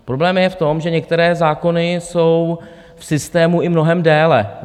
Problém je v tom, že některé zákony jsou v systému i mnohem déle.